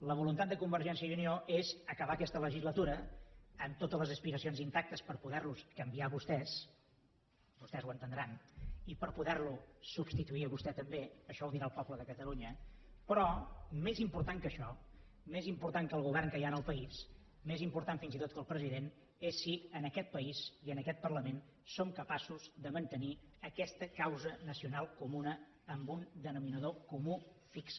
la voluntat de convergència i unió és acabar aquesta legislatura amb totes les aspiracions intactes per poder los canviar a vostès vostès ho entendran i per poder lo substituir a vostè també això ho dirà el poble de catalunya però més important que això més important que el govern que hi ha en el país més important fins i tot que el president és si en aquest país i en aquest parlament som capaços de mantenir aquesta causa nacional comuna amb un denominador comú fix